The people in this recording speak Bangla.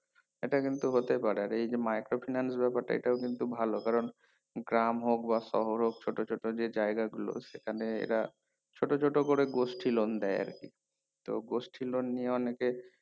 এটা কিন্তু হতে পারে এটা যদি micro finance এটাও কিন্তু ভালো কারণ গ্রাম হোক বা শহর হোক ছোটো ছোটো যে জায়গা গুলো সেখানে এরা ছোটো ছোটো করে গোষ্ঠী loan দেয় আরকি তো গোষ্ঠী loan নিয়ে অনেকে